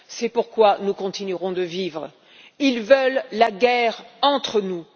C'est pourquoi nous continuerons de vivre. Ils veulent la guerre entre nous.